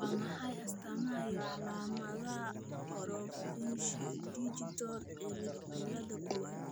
Waa maxay astamaha iyo calaamadaha Orofaciodigital cilada kowad?